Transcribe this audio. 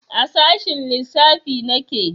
A sashen lissafi nake